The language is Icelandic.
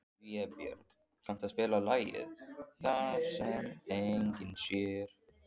Vébjörg, kanntu að spila lagið „Það sem enginn sér“?